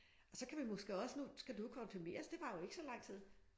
Og så kan vi måske også nu skal du jo konfirmeres det varer jo ikke så lang tid